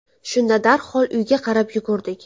Shunda darhol uyga qarab yugurdik.